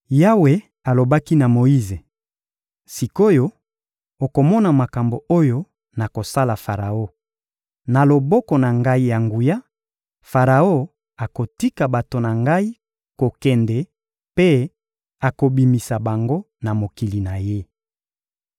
Yawe alobaki na Moyize: — Sik’oyo, okomona makambo oyo nakosala Faraon: na loboko na Ngai ya nguya, Faraon akotika bato na Ngai kokende mpe akobimisa bango na mokili na ye.